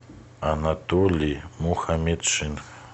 анатолий мухаметшин